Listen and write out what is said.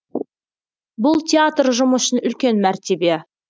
бұл театр ұжымы үшін үлкен мәртебе